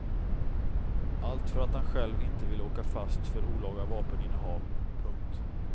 Allt för att han själv inte ville åka fast för olaga vapeninnehav. punkt